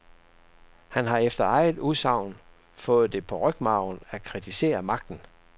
Han har efter eget udsagn har fået det på rygmarven at kritisere magten.